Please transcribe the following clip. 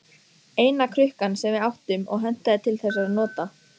Eina krukkan sem við áttum og hentaði til þessara nota.